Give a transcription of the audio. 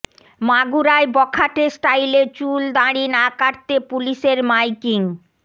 মাগুরায় বখাটে স্টাইলে চুল দাড়ি না কাটতে পুলিশের মাইকিং